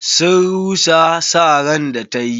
Sun rusa sa ran da ta yi.